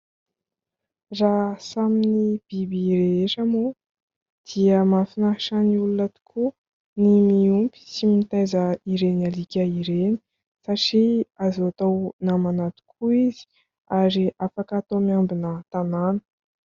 Raha samy biby rehetra moa dia mahafinaritra ny olona tokoa ny miompy sy mitaiza ireny alika ireny, satria azo atao namana tokoa izy ary afaka atao miambina tanàna.